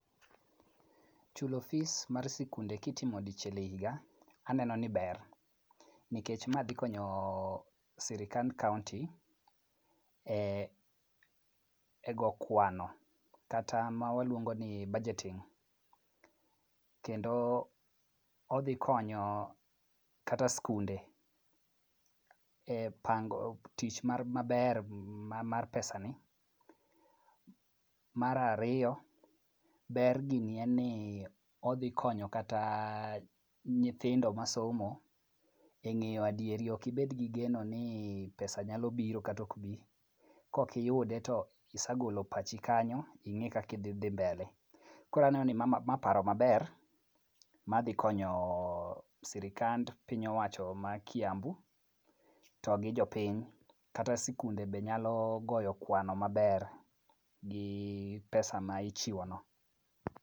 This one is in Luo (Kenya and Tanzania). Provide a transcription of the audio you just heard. Chulo fees mar skunde kitimo dichiel e higa, aneno ni ber nikech ma dhikonyo sirikand kaonti e go kwano kata ma waluongo ni budgeting kendo odhi konyo kata skunde e pango tich maber mar pesani . Mar ariyo, ber gini en ni odhi konyo kata nyithindo masomo e ng'eyo adieri, ok ibed gi geno ni pesa nyalo biro kata ok bi. Kokiyude to isagolo pachi kanyo ing'i kaka idhi mbele. Koro aneno ni ma paro maber ma dhi konyo sirikand piny owacho ma Kiambu to gi jopiny. Kata sikunde be nyalo goyo kwano maber gi pesa ma ichiwo no.